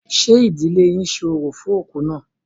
Ṣé ìdílé yín ṣe orò fún òkú náà?